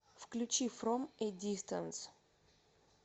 включи фром э дистанс